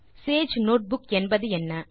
Sage notebook என்பதென்ன